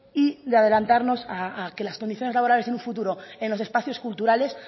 y de adelantarnos a que las condiciones laborales en un futuro en los espacios culturales